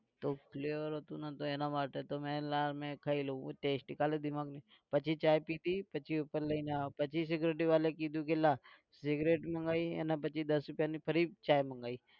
તો flavour હતું ને તો એના માટે તો મેં લા મેં ખાઈ લાવ test ખાલી દિમાગ પછી ચા પીધી પછી ઉપર લઇને આવ્યો પછી security વાળા એ કીધુ કે લા સિગરેટ મંગાઈ અને પછી દસ રૂપિયાની ફરી ચા મંગાઈ.